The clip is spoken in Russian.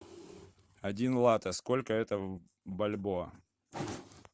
один лате сколько это в бальбоа